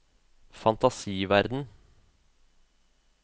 fantasiverden